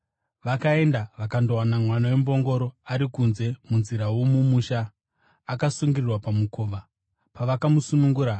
Vakaenda vakandowana mwana wembongoro ari kunze munzira yomumusha, akasungirirwa pamukova. Pavakamusunungura,